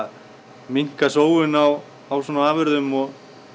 minnka sóun á afurðum og